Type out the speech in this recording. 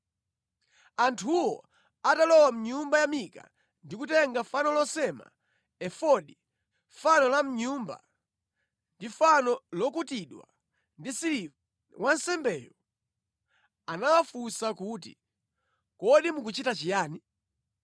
Anthuwo atalowa mʼnyumba ya Mika ndi kutenga fano losema, efodi, fano la mʼnyumba, ndi fano lokutidwa ndi siliva, wansembeyo anawafunsa kuti, “Kodi mukuchita chiyani?”